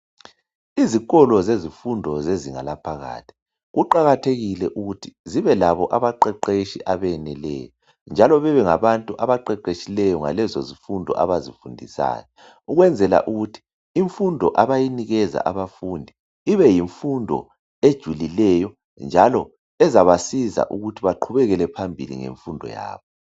Izikolo zezifundo zezinga laphakathi kuqakathekile ukuthi zibelabo abaqeqetshi abeneleyo njalo bebengabantu abaqeqetshileyo ngalezozifundo abazifundisayo ukwenzela ukuthi ukuthi imfundo abayinikeza abafundi ibeyimfundo ejulileyo njalo ezabasiza ukuthi baqhubekele phambili ngemfundo yabo.